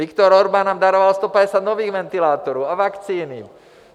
Viktor Orbán nám daroval 150 nových ventilátorů a vakcíny.